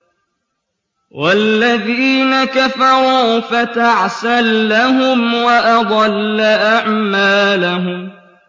وَالَّذِينَ كَفَرُوا فَتَعْسًا لَّهُمْ وَأَضَلَّ أَعْمَالَهُمْ